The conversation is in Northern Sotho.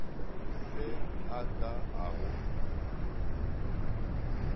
se a ka a go